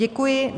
Děkuji.